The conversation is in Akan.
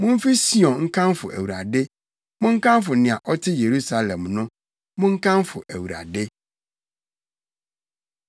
Mumfi Sion nkamfo Awurade, monkamfo nea ɔte Yerusalem no. Monkamfo Awurade.